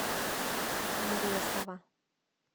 мресова